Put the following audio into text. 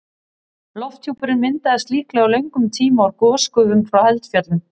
Lofthjúpurinn myndaðist líklega á löngum tíma úr gosgufum frá eldfjöllum.